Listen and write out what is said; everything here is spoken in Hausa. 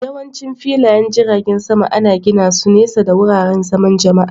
Yawancin filayen jiragen sama ana gina su nesa da wuraren zaman Jama'a